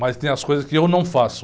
Mas tem as coisas que eu não faço.